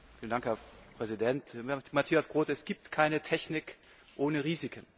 Herr Präsident! Matthias Groote, es gibt keine Technik ohne Risiken!